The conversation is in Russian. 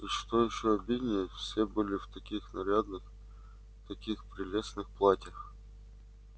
и что ещё обиднее всё были в таких нарядных таких прелестных платьях